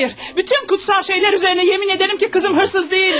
Bütün müqəddəs şeylər üzərinə yemin edirəm ki, qızım oğru deyildi!